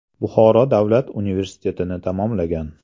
Buxoro davlat universitetini tamomlagan.